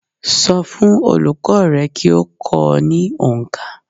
So fún olùkó rẹ kí o kó o ní onkà